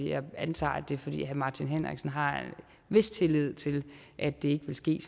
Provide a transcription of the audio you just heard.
jeg antager at det er fordi herre martin henriksen har en vis tillid til at det ikke vil ske